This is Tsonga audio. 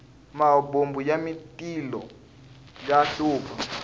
mahobomu ya matilo ya hlupha